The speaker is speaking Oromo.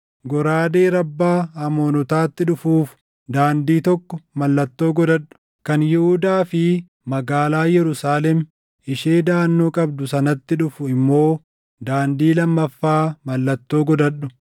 Goraadee Rabbaa Amoonotaatti dhufuuf daandii tokko mallattoo godhadhu; kan Yihuudaa fi magaalaa Yerusaalem ishee daʼannoo qabdu sanatti dhufu immoo daandii lammaffaa mallattoo godhadhu.